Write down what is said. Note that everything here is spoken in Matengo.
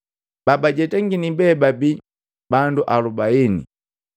Babajetangini be babii bandu alubaini.